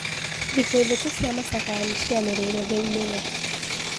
Thikũ ithatũ cia macakaya nishianirirwo thiini iyo.